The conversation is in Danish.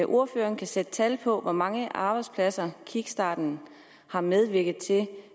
ordføreren sætte tal på hvor mange arbejdspladser kickstarten har medvirket til